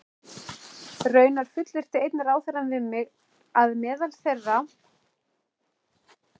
Raunar fullyrti einn ráðherrann við mig, að meðal þeirra